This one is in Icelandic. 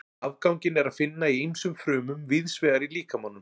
Afganginn er að finna í ýmsum frumum víðs vegar í líkamanum.